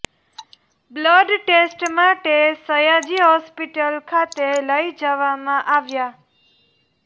blood test માટે Sayaji hospital ખાતે લઇ જવામાં આવ્યા